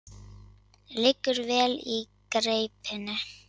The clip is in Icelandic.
Liggur vel í greipinni.